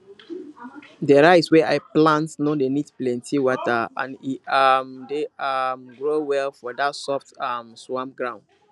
the rice wey i plant no dey need plenty water and e um dey um grow well for that soft um swamp ground